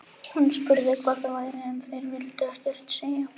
Hann hafði aldrei heyrt foreldra sína rífast svona fyrr.